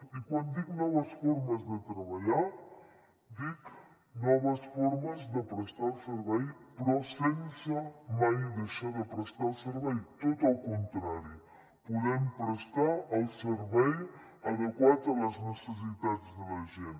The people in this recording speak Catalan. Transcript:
i quan dic noves formes de treballar dic noves formes de prestar el servei però sense mai deixar de prestar el servei tot el contrari podem prestar el servei adequat a les necessitats de la gent